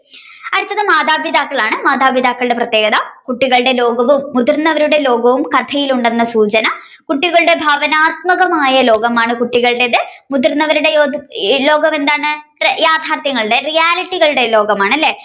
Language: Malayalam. അടുത്തത് മാതാപിതാക്കളാണ് മാതാപിതാക്കളുടെ പ്രതേകത കുട്ടികളുടെ ലോകവും മുതിർന്നവരുടെ ലോകവും കഥയിൽ ഉണ്ടെന്നുള്ള സൂചന കുട്ടികളുടെ ഭാവനാത്മകമായ ലോകമാണ് കുട്ടികളുടേത് മുതിർന്നവരുടെയോ ലോകമെന്താണ് യാഥാർഥ്യങ്ങളുടെ reality കളുടെ ലോകമാണ് അല്ലെ